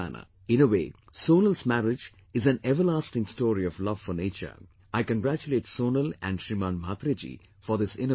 In a way, Sonal's marriage in an everlasting story of love for nature, I congratulate Sonal and Shriman Mhatre Ji for this innovative effort